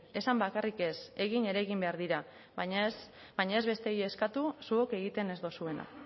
esan bakarrik ez egin ere egin behar dira baina ez bestei eskatu zuok egiten ez duzuena